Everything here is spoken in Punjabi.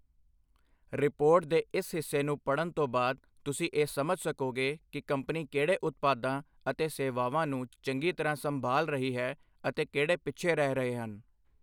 ਰਿਪੋਰਟ ਦੇ ਇਸ ਹਿੱਸੇ ਨੂੰ ਪੜ੍ਹਨ ਤੋਂ ਬਾਅਦ, ਤੁਸੀਂ ਇਹ ਸਮਝ ਸਕੋਗੇ ਕਿ ਕੰਪਨੀ ਕਿਹੜੇ ਉਤਪਾਦਾਂ ਅਤੇ ਸੇਵਾਵਾਂ ਨੂੰ ਚੰਗੀ ਤਰ੍ਹਾਂ ਸੰਭਾਲ ਰਹੀ ਹੈ ਅਤੇ ਕਿਹੜੇ ਪਿੱਛੇ ਰਹਿ ਰਹੇ ਹਨI